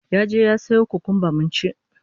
Ya je ya sayo kukumba mun ci